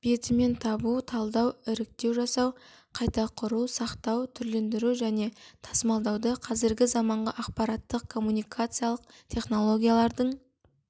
бетімен табу талдау іріктеу жасау қайта құру сақтау түрлендіру және тасымалдауды қазіргі заманғы ақпараттық коммуникациялық технологиялардың